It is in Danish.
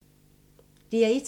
DR1